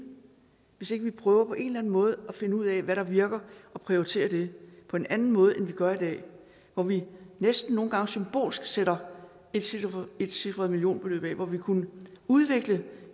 hvis ikke vi prøver på en eller anden måde at finde ud af hvad der virker og prioriterer det på en anden måde end vi gør i dag hvor vi næsten nogle gange symbolsk sætter etcifrede etcifrede millionbeløb af og hvor vi kunne udvikle